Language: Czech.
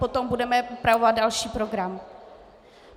Potom budeme upravovat další program.